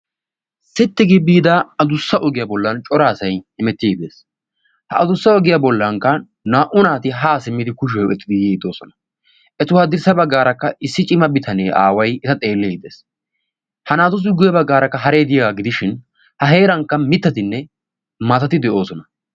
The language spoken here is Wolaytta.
sitti gi biida adussa ogiyaa bollan coraasai imetti iddees ha adussa ogiyaa bollankka naa77u naati haa simmidi kushiyoaa oyqqetidi yiiddoosona etu haaddirssa baggaarakka issi cima bitanee aaway eta xeelliidi dees ha naatusi guyyea baggaarakka hareeti diyaagaa gidishin ha heerankka mittatinne maatati de7oosona